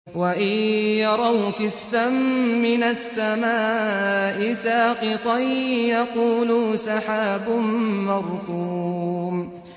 وَإِن يَرَوْا كِسْفًا مِّنَ السَّمَاءِ سَاقِطًا يَقُولُوا سَحَابٌ مَّرْكُومٌ